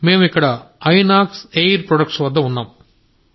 మేము ఇక్కడ Inox air product వద్ద ఉన్నాము